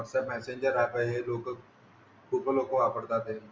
WhatsApp messenger app आहे हे लोकं खूप लोकं वापरतात ते.